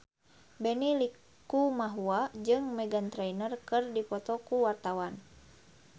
Benny Likumahua jeung Meghan Trainor keur dipoto ku wartawan